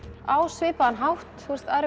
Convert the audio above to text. á svipaðan hátt